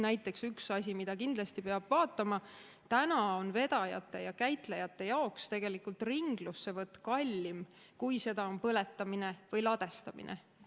Näiteks üks asi, mida kindlasti peab vaatama: täna on vedajate ja käitlejate jaoks ringlussevõtt kallim kui seda on põletamine või ladestamine.